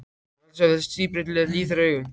Ég mun aldrei sjá hið síbreytilega líf þeirra augum.